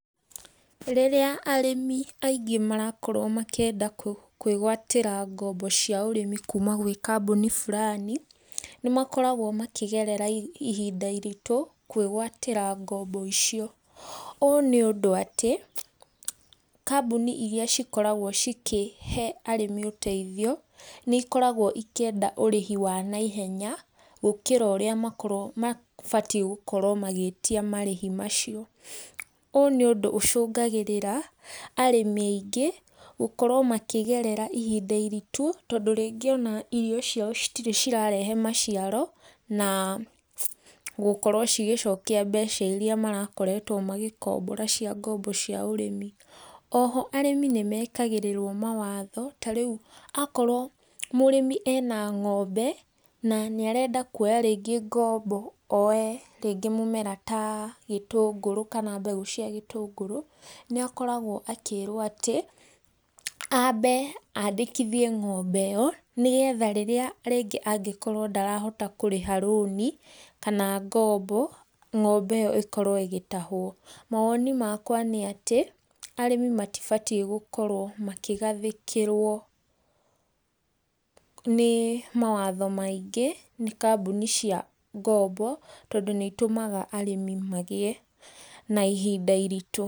Rĩrĩa arĩmi aingĩ marakorwo makĩenda kwĩgwatĩra ngombo cia ũrĩmi kuma gwĩ kambuni fulani, nĩ makoragwo makĩgerera ihinda iritũ kwĩgwatĩra ngombo icio, ũũ nĩ ũndũ atĩ, kambuni iria cikoragwo cikĩhe arĩmi ũteithio, nĩ ikoragwo ikĩenda ũrĩhi wa naihenya, gũkĩra ũrĩa makorwo mabatie gũkorwo magĩĩtia marĩhi macio. Ũũ nĩ ũndũ ũcũngagĩrĩra arĩmi aingĩ gũkorwo makĩgerera ihinda iritũ, tondũ rĩngĩ ona irio ciao citirĩ cirarehe maciaro, na gũkorwo cigĩcokia mbeca iria marakoretwo magĩkombora cia ngombo cia ũrĩmi. Oho arĩmi nĩ mekagĩrĩrwo mawatho ta rĩu akorwo mũrĩmi ena ng'ombe, na nĩ arenda kuoya rĩngĩ ngombo oe rĩngĩ mũmera ta gĩtũngũrũ kana mbegũ cia gĩtũngũrũ, nĩ akoragwo akĩĩrwo atĩ, ambe andĩkithie ng'ombe ĩyo, nĩgetha rĩrĩa rĩngĩ angĩkorwo ndarahota kũrĩha rũni kana ngombo, ng'ombe ĩyo ĩkorwo ĩgĩtahwo. Mawoni makwa nĩ atĩ, arĩmi matibatie gũkorwo makĩgathĩkĩrwo nĩ mawatho maingĩ, nĩ kambuni cia ngombo tondũ nĩ itũmaga arĩmi magĩe na ihinda iritũ.